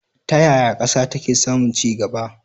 Ta yaya ƙasa take samun ci gaba?